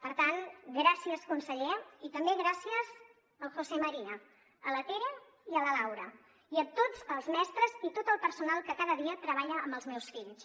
per tant gràcies conseller i també gràcies al josé maría a la tere i a la laura i a tots els mestres i tot el personal que cada dia treballa amb els meus fills